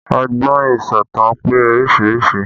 Ọgbọ́n ìsọ̀tàn pé oríṣiríṣi